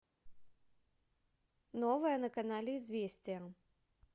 новое на канале известия